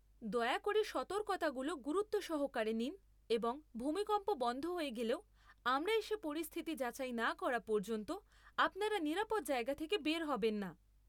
দয়া করে সতর্কতাগুলো গুরুত্ব সহকারে নিন এবং ভূমিকম্প বন্ধ হয়ে গেলেও, আমরা এসে পরিস্থিতি যাচাই না করা পর্যন্ত আপনারা নিরাপদ জায়গা থেকে বের হবেন না।